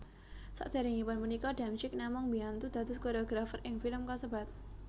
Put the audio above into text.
Saderengipun punika Damsyik namung mbiyantu dados koreografer ing film kasebat